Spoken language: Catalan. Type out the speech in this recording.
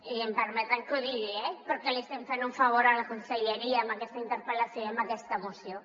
i em permetran que ho digui eh per què li estem fent un favor a la conselleria amb aquesta interpel·lació i amb aquesta moció